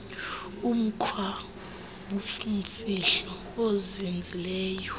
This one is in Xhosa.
umkhwa wobumfihlo ozinzileyo